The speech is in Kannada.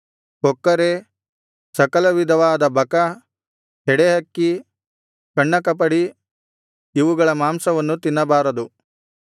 ಕೊಕ್ಕರೆ ಸಕಲವಿಧವಾದ ಬಕ ಹೆಡೆಹಕ್ಕಿ ಕಣ್ಣಕಪಡಿ ಇವುಗಳ ಮಾಂಸವನ್ನು ತಿನ್ನಬಾರದು